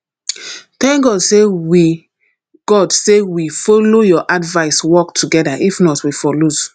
thank god say we god say we follow your advice work together if not we for lose